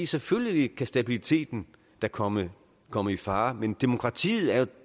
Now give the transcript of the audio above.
selvfølgelig kan stabiliteten da komme komme i fare men demokratiet er